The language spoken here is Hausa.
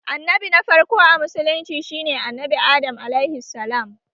Annabi na farko a musulunci shi ne Annabi Adam(AS)